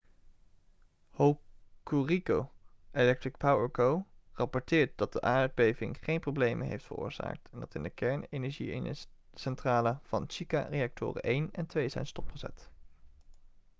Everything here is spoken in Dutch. hokuriku electric power co rapporteert dat de aardbeving geen problemen heeft veroorzaakt en dat in de kernenergiecentrale van shika reactoren 1 en 2 zijn stopgezet